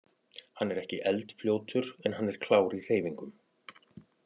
Hann er ekki eldfljótur en hann er klár í hreyfingum.